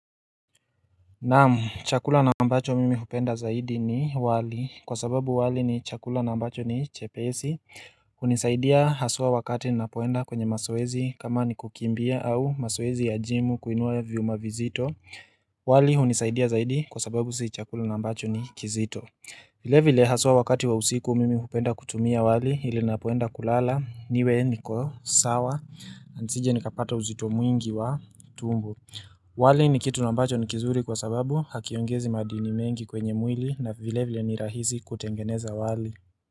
Naam, chakula na ambacho mimi hupenda zaidi ni wali kwa sababu wali ni chakula na ambacho ni chepesi hunisaidia haswa wakati ninapoenda kwenye mazoezi kama ni kukimbia au mazoezi ya jimu kuinua viuma vizito wali hunisaidia zaidi kwa sababu si chakula na ambacho ni kizito vile vile haswa wakati wa usiku mimi hupenda kutumia wali ili ninapoenda kulala niwe niko sawa na nisije nikapata uzito mwingi wa tumbo. Wali ni kitu na ambacho ni kizuri kwa sababu hakiongezi madini mengi kwenye mwili na vile vile ni rahisi kutengeneza wali.